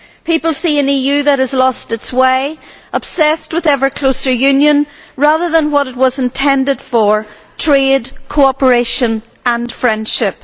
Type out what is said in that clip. People see an EU that has lost its way, that is obsessed with ever closer union rather than what it was intended for trade, cooperation and friendship.